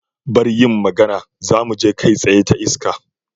Bar yin magana, zamu je kai tsaye ta iska.